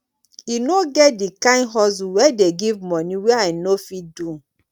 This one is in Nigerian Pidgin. e no get di kain hustle wey dey give moni wey i no fit do